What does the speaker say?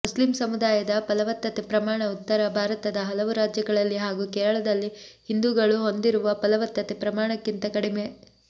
Muslim ಸಮುದಾಯದ ಫಲವತ್ತತೆ ಪ್ರಮಾಣ ಉತ್ತರ ಭಾರತದ ಹಲವು ರಾಜ್ಯಗಳಲ್ಲಿ ಹಾಗೂ ಕೇರಳದಲ್ಲಿ ಹಿಂದೂಗಳು ಹೊಂದಿರುವ ಫಲವತ್ತತೆ ಪ್ರಮಾಣಕ್ಕಿಂತ ಕಡಿಮೆ